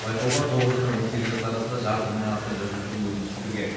байқауға тоғыз және он сегіз жас арасында жарты мыңнан астам жасөспірім өтініш білдірген